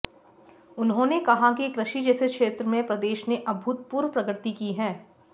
उन्होंने कहा कि कृषि जैसे क्षेत्र में प्रदेश ने अभूतपूर्व प्रगति की है